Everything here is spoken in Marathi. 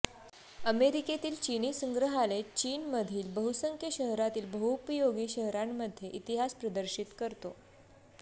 अमेरिकेतील चीनी संग्रहालय चीनमधील बहुसंख्य शहरातील बहुपयोगी शहरांमध्ये इतिहास प्रदर्शित करतो